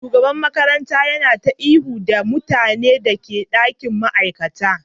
Shugaban makarantar yana ta ihu da mutanen da ke dakin ma'aikata